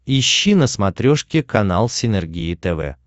ищи на смотрешке канал синергия тв